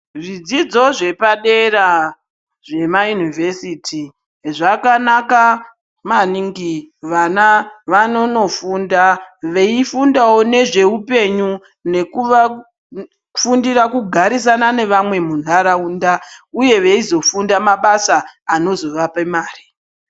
Zvidzidzo zvepadera zvemayunivhesiti, zvakanaka maningi. Vana vanonondofunda, veifundawo nezveupenyu, nekufundira kugarisana nevamwe muntaraunda, uye veizofunda mabasa anozovape mare.